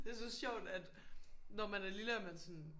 Det så sjovt at når man er lille er man sådan